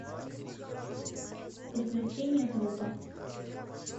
приключения трупа